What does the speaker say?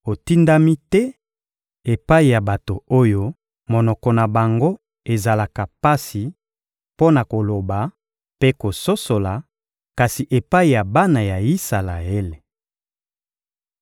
Otindami te epai ya bato oyo monoko na bango ezalaka pasi mpo na koloba mpe kososola, kasi epai ya bana ya Isalaele.